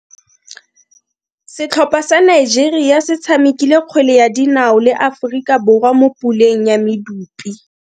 Setlhopha sa Nigeria se tshamekile kgwele ya dinao le Aforika Borwa mo puleng ya medupe.